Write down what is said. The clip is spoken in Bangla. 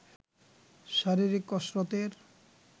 শারীরিক কসরতের